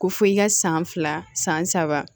Ko fɔ i ka san fila san saba